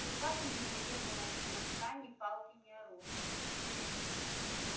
в руках у него не было ни хлыста ни палки ни оружия